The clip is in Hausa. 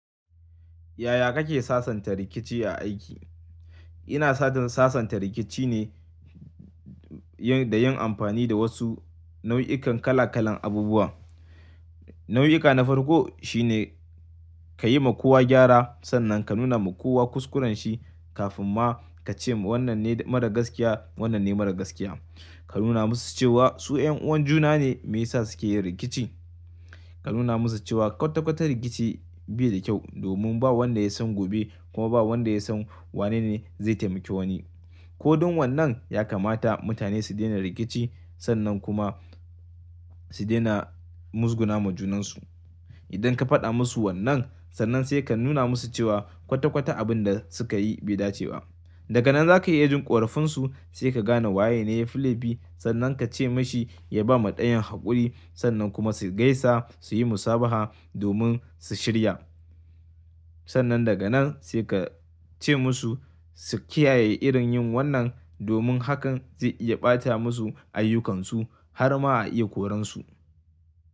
Yaya kake sasanta rikici a aiki? Ina sajan sasanta rikici ne yin, da yin amfani da wasu nau'ikan kala kalan abubuwa. Nau'ika na farko shi ne ka yi ma kowa gyara sannan ka nuna ma kowa kuskurenshi kafin ma ka ce wannan ne mara gaskiya wannan ne mara gaskiya. Ka nuna musu cewa su 'yan uwan juna ne me yasa suke yin rikici. Ka nuna musu cewa kwata kwata rikici bai da kyau domin ba wanda ya san gobe kuma ba wanda ya san wanene zai taimake wani. Ko don wannan ya kamata mutane su daina rikici sannan kuma su daina muzguna ma junansu. Idan ka faɗa musu wannan sannan sai ka nuna musu cewa kwata kwata abin da suka yi bai dace ba. Daga nan za ka yi ya jin ƙorafinsu sai ka gane waye ne filebi sannan ka ce mashi ya ba ma ɗayan haƙuri sannan kuma su gaisa su yi musabaha domin su shirya. Sannan daga nan sai ka ce musu su kiyaye irin yin wannan domin hakan zai iya ɓata musu ayyukansu har ma a iya koransu.